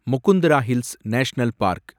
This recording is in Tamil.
Mukundra Hills National park